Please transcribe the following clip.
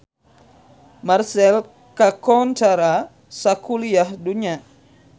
Marseille kakoncara sakuliah dunya